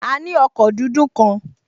A ní ọkọ̀ dúdú kan